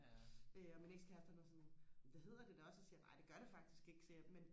øh og min ex kæreste han er sådan det hedder det da også så siger jeg nej det gør det faktisk ikke siger jeg men